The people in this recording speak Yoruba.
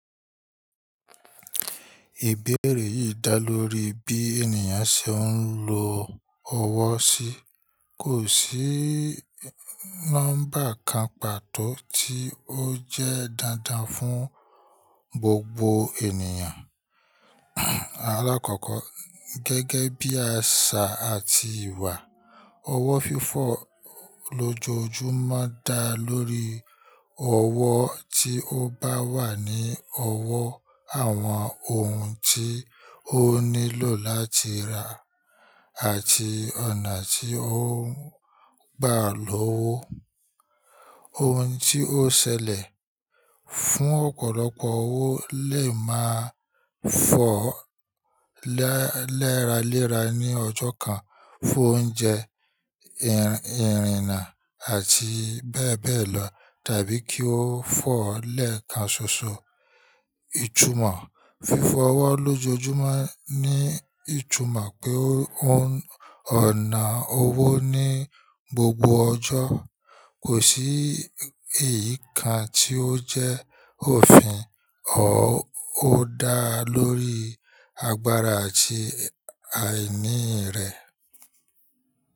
Ìbéèrè yìí dá lórí bí ènìyàn ṣe ń lo ọwọ́ si. Kò sí nọ́mbà kan pàtó tí ó jẹ́ dandan fún gbogbo ènìyàn. Alákọ̀ọ́kọ́ gẹ́gẹ́ bí àṣà àti ìwà, ọwọ́ fífọ̀ lójojúmọ́ dá lórí ọwọ́ tí ó bá wà ní ọwọ́ àwọn ohun tí ó nílò láti rà àti ọ̀nà tí ó ń gbà lówo. Ohun tí ó ṣẹlẹ̀, fún ọ̀pọ̀lọpọ̀ owó lè máa fọ́ leraléra ní ọjọ́ kan fún oúnjẹ, ìrìna àti bẹ́ẹ̀ bẹ́ẹ̀ lọ tàbí kí ó fọ́ lẹ́ẹ̀kan ṣoṣo. Ìtumọ̀ fífọ ọwọ lójojúmọ́ ní ìtumọ̀ pé ọ̀nà owó ní gbogbo ọjọ́. Kò sí èyí kan tí ó jẹ́ òfin, ó dá lórí agbára àti àìní rẹ.